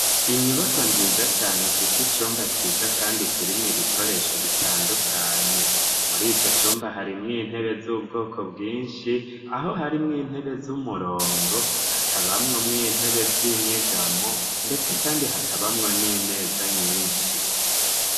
Inyubako nziza cane ifise icumba ciza, kandi kirimwo ibikoresho bitandukanye muri ico cumba harimwo intebe z'ubwoko bwinshi aho harimwo intebe z'umurongo hakabamwo mwo intebe z'inyegamo, ndetse, kandi hakabamwo n'imeza nyinshi.